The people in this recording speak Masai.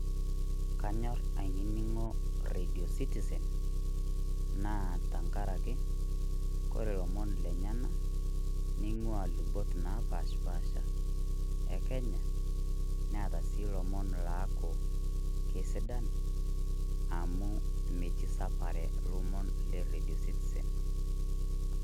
Kanyorr ainining'o redio citizen naa tenkarake, ore lomon lenyena, neing'ua lubot napashipasha e Kenya, neata sii lomon laaku kesidan, amu metii sapare ilomon le redio citizen.